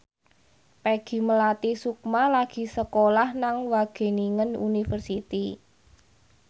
Peggy Melati Sukma lagi sekolah nang Wageningen University